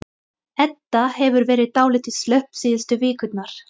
Edda hefur verið dálítið slöpp síðustu vikurnar.